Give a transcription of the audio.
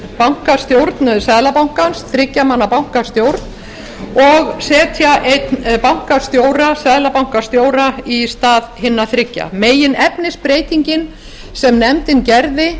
bankastjórn seðlabankans þriggja manna bankastjórn og setja einn seðlabankastjóra í stað hinna þriggja meginefnisbreytingin sem nefndin gerði